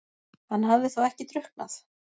Hann hafði þá ekki drukknað?